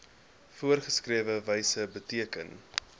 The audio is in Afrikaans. voorgeskrewe wyse beteken